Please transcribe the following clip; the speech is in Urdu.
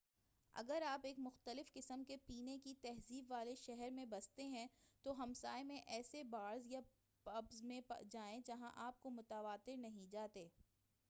اگر آپ ایک مختلف قسم کے پینے کی تہذیب والے شہر میں بستے ہیں تو ہمسائے میں ایسے بارز یا پبز میں جائیں جہاں آپ متواتر نہیں جاتے